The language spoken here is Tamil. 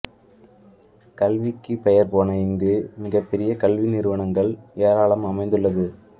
கல்விக்கு பெயர் போன இங்கு மிகப் பெரிய கல்வி நிறுவனங்கள் ஏராளம் அமைந்துள்ளது